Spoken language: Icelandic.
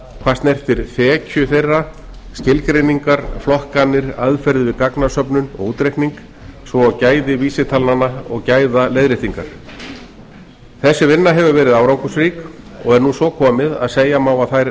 hvað snertir þekju þeirra skilgreiningar flokkanir aðferðir við gagnasöfnun og útreikning svo og gæði vísitalnanna og gæðaleiðréttingar þessi vinna hefur verið árangursrík og er nú svo komið að segja má að þær